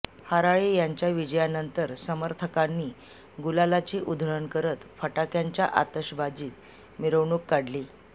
हराळे यांच्या विजयानंतर समर्थकांनी गुलालाची उधळण करत फटाक्यांच्या आतषबाजीत मिरवणूक काढली